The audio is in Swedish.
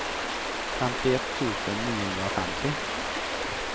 femtioett tusen niohundrafemtio